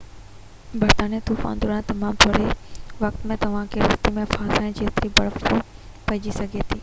برفاني طوفان دوران تمام ٿوري وقت ۾ توهانکي رستي ۾ ڦاسائڻ جيتري برف پئجي سگهي ٿي